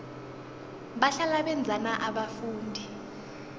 bahlala benzani abafundi